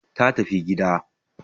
ta tafi gida